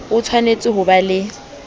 o tshwanetse ho ba le